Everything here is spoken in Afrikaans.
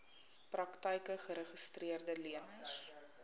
praktyke geregistreede leners